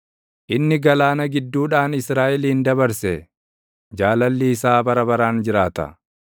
inni galaana gidduudhaan Israaʼelin dabarse; Jaalalli isaa bara baraan jiraata.